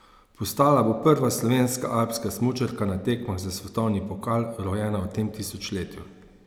Postala bo prva slovenska alpska smučarka na tekmah za svetovni pokal, rojena v tem tisočletju.